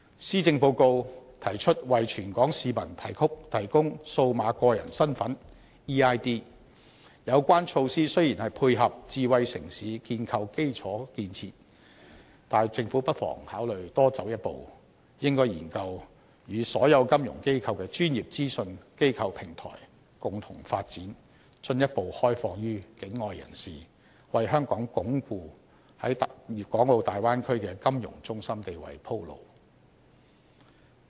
施政報告提出為全港市民提供"數碼個人身份"，有關措施雖然是配合智慧城市建構基礎建設，但政府不妨考慮多走一步，應該研究與所有金融機構的專業資訊機構平台共同發展，進一步開放予境外人士，為香港鞏固在大灣區的金融中心地位鋪路。